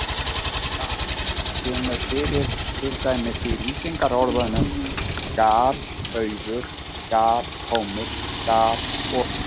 Gal- kemur fyrir til dæmis í lýsingarorðunum galauður, galtómur og galopinn.